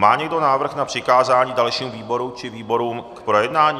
Má někdo návrh na přikázání dalšímu výboru či výborům k projednání?